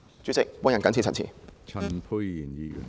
主席，我謹此陳辭。